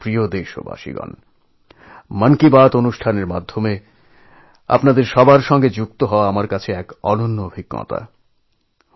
আমার প্রিয় দেশবাসী মন কি বাত কার্যক্রমের মাধ্যমে আপনাদের সকলের সঙ্গে সংযোগ স্থাপন আমার কাছে এক অনন্য অভিজ্ঞতা